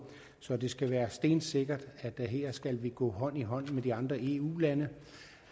så det skal være stensikkert at vi her skal gå hånd i hånd med de andre eu lande